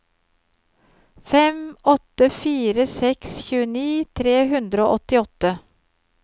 fem åtte fire seks tjueni tre hundre og åttiåtte